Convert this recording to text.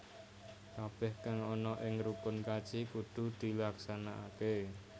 Kabeh kang ana ing rukun kaji kudu dilaksanakake